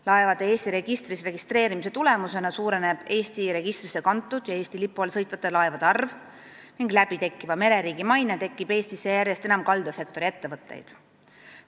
Laevade Eesti registris registreerimise tulemusena suureneb Eesti registrisse kantud ja Eesti lipu all sõitvate laevade arv ning uuesti tekkiv mereriigi maine toob Eestisse järjest enam kaldasektori ettevõtteid.